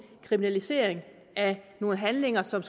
kriminalisering af nogle handlinger som